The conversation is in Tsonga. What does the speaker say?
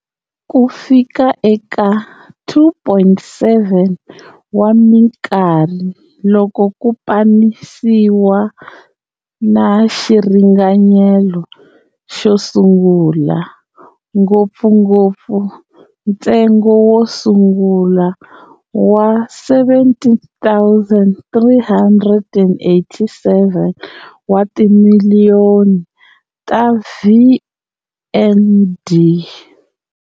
Ku fika eka 2.7 wa minkarhi loko ku pamanisiwa na xiringanyeto xo sungula, ngopfungopfu ntsengo wo sungula wa 17,387 wa timiliyoni ta VND.